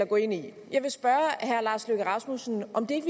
gå ind i jeg vil spørge herre lars løkke rasmussen om det